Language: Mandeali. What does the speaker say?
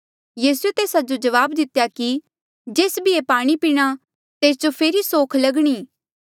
यीसूए तेस्सा जो जवाब दितेया कि जेस भी ये पाणी पीणा तेस जो फेरी सोख लगणी